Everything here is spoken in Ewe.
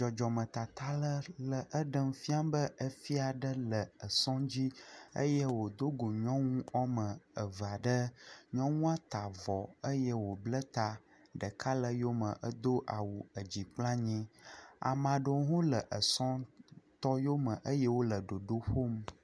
Dzɔdzɔm me tata ɖe le ɖem fia be efia aɖe le esɔ dzi eye wodo go nyɔnu wòa me eve aɖe. Nyɔnua ta àxɔ eye wò bla ta. Ɖeka le eyome hedo edzi kple anyi. Ame aɖewo le esɔ̃tɔ yome eye wole ɖoɖo ƒom.